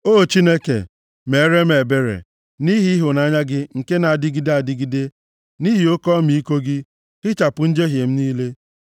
O Chineke, meere m ebere, nʼihi ịhụnanya gị nke na-adịgide adịgide; nʼihi oke ọmịiko gị, hichapụ njehie m niile.